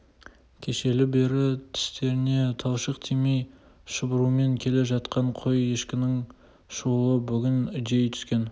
кешелі бері тістеріне талшық тимей шұбырумен келе жатқан қой-ешкінің шуылы бүгін үдей түскен